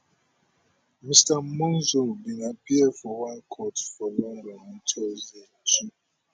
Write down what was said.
mr monzo bin appear for one court for london on thursday two